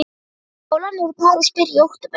Skólarnir í París byrja í október.